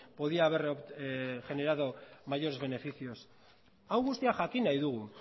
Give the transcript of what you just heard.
podía haber generado mayores beneficios hau guztia jakin nahi dugu